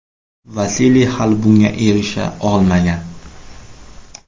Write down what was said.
Vasiliy hali bunga erisha olmagan.